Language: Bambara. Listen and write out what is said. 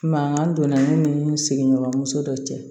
Mankan donna ne ni sigiɲɔgɔnso dɔ cɛ